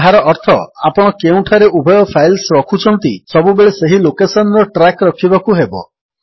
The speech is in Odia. ଯାହାର ଅର୍ଥ ଆପଣ କେଉଁଠାରେ ଉଭୟ ଫାଇଲ୍ସକୁ ରଖୁଛନ୍ତି ସବୁବେଳେ ସେହି ଲୋକେଶନ୍ ର ଟ୍ରାକ୍ ରଖିବାକୁ ହେବ